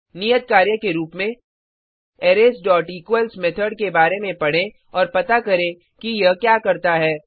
नियत कार्य के रूप में arraysइक्वल्स मेथड के बारे में पढ़ें और पता करें कि यह क्या करता है